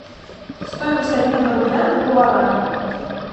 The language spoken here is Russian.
стоимость обмена рубля на гуарани